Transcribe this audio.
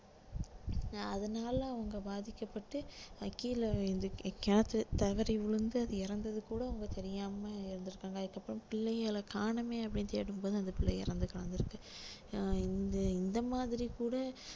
அதனால அவங்க பாதிக்கப்பட்டு அஹ் கீழே விழவேண்டிது கிணத்துல தவறி விழுந்து அது இறந்தது கூட அவங்க தெரியாம இறந்திருக்காங்க அதுக்குப்பிறம் பிள்ளைகள காணோமே அப்படின்னு கேட்கும்போது அந்த பிள்ளை இறந்து கிடந்திருக்கு so இந்த இந்த மாதிரி கூட